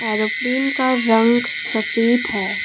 Aeroplane का रंग सफेद है।